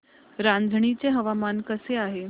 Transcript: रांझणी चे हवामान कसे आहे